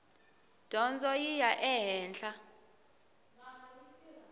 dyondzo yi ya ehenhla